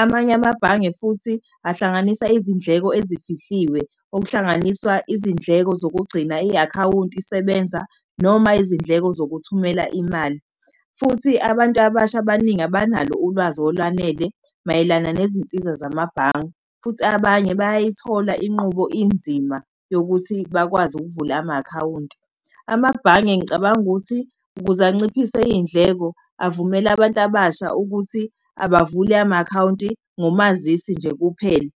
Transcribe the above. Amanye amabhange futhi ahlanganisa izindleko ezifihliwe, okuhlanganiswa izindleko zokugcina i-akhawunti isebenza, noma izindleko zokuthumela imali. Futhi abantu abasha abaningi abanalo ulwazi olwanele mayelana nezinsiza zamabhange, futhi abanye bayayithola inqubo inzima yokuthi bakwazi ukuvula ama-akhawunti. Amabhange ngicabanga ukuthi ukuze anciphise iy'ndleko avumele abantu abasha ukuthi abavule ama-akhawunti ngomazisi nje kuphela.